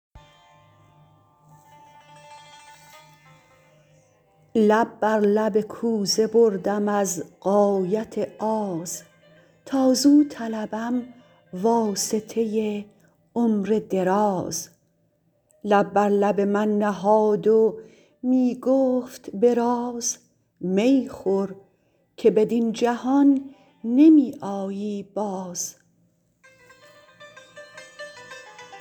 لب بر لب کوزه بردم از غایت آز تا زو طلبم واسطه عمر دراز لب بر لب من نهاد و می گفت به راز می خور که بدین جهان نمی آیی باز